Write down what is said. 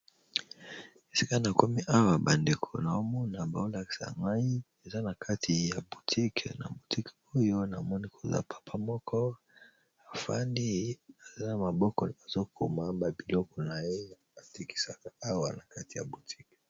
Esika na komi awa bandeko nazomona bazo lakisa ngai eza na kati ya boutique na boutique oyo namoni koza papa moko afandi na maboko azokoma ba biloko na ye atekisaka awa na kati ya boutique.